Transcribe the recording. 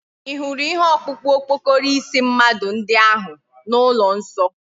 Ihuru ihe okpukpu okpokoro isi mmadu ndi ahu na ulo nso?